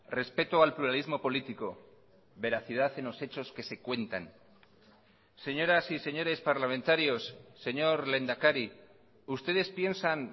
respeto al pluralismo político veracidad en los hechos que se cuentan señoras y señores parlamentarios señor lehendakari ustedes piensan